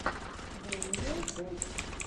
дэниел бой